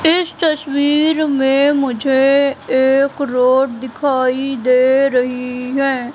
इस तस्वीर में मुझे एक रोड दिखाई दे रही है।